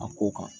A ko kan